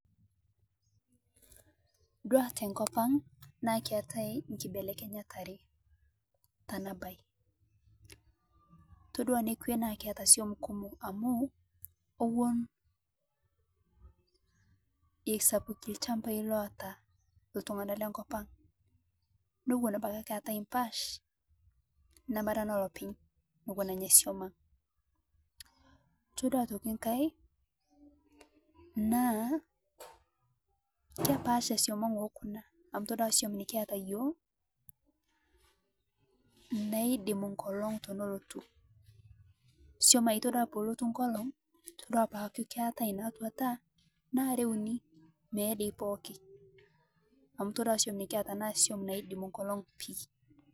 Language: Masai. Etodua tenkop ang naa keetae enkibelenyat are naipirta ena mbae ore enekwe na ewuon esapuki ilchambai lotaa iltung'ana lee nkop ang neeku keetae embash neme enolopeny todua aitoki enkae naa kepaasha suam naa nikiata iyiok amu ore suam nikiata iyiok naa naidimi enkolog tenelotu suam naa tenelotu enkolog naa are uni meye doi pookin amu etodua suam nikiata naa naidimi enkolog pii